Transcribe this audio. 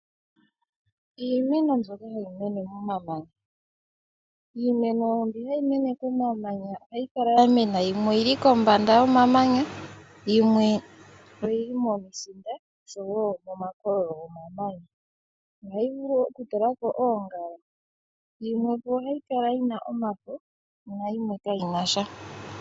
Iimeno mbi hayi mene momamanya ohayi kala ya mena yimwe oyi li kombanda yomamanya yimwe oyi li momisinda oshowo momakololo gomananya. Ohayi vulu okutula ko oongala. Yimwe oyi na omafo nayimwe kayi na sha.